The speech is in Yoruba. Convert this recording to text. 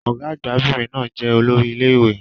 Ọ̀gá-àgbà 'bìnrin náà jẹ́ olórí ilé ìwé.